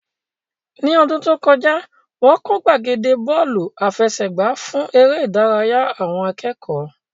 Ní ọdún tó kọjá, wọ́n kọ́ gbàgede Bọ́ọ̀lù àfẹsẹ̀gbá fún eré ìdárayá àwọn akẹ́kọ̀ọ́